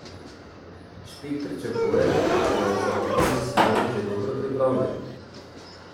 Špik pričakuje, da je za uvod v sezono že dobro pripravljen.